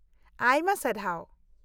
-ᱟᱭᱢᱟ ᱥᱟᱨᱦᱟᱣ ᱾